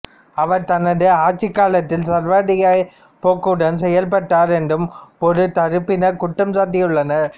அவர் தனது ஆட்சி காலத்தில் சர்வாதிகாரப் போக்குடன் செயல்பட்டார் என்றும் ஒரு தரப்பினர் குற்றம் சாட்டியுள்ளனர்